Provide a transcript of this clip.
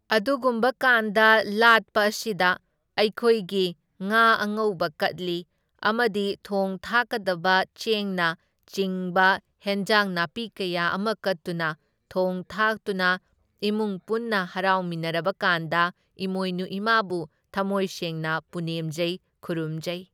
ꯑꯗꯨꯒꯨꯝꯕ ꯀꯥꯟꯗ ꯂꯥꯠꯄ ꯑꯁꯤꯗ ꯑꯩꯈꯣꯏꯒꯤ ꯉꯥ ꯑꯉꯧꯕ ꯀꯠꯂꯤ, ꯑꯃꯗꯤ ꯊꯣꯡ ꯊꯥꯛꯀꯗꯕ ꯆꯦꯡꯅ ꯆꯤꯡꯕ ꯍꯦꯟꯖꯥꯡ ꯅꯥꯄꯤ ꯀꯌꯥ ꯑꯃ ꯀꯠꯇꯨꯅ ꯊꯣꯡ ꯊꯥꯛꯇꯨꯅ ꯏꯃꯨꯡ ꯄꯨꯟꯅ ꯍꯔꯥꯎꯃꯤꯟꯅꯔꯕꯀꯥꯟꯗ ꯏꯃꯣꯏꯅꯨ ꯏꯃꯥꯕꯨ ꯊꯝꯃꯣꯏ ꯁꯦꯡꯅ ꯄꯨꯅꯦꯝꯖꯩ ꯈꯨꯔꯨꯝꯖꯩ꯫